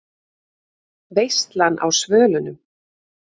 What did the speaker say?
VEISLAN Á SVÖLUNUM